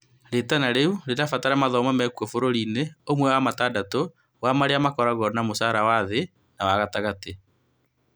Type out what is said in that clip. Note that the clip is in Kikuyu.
Ritana rĩu riĩrabatara mathomo mekwo bũrũri-inĩ ũmwe wa matandatũ wa marĩa makoragwo na mũcara wa-thĩĩ na wa-gatagatĩ, LMICs.